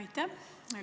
Aitäh!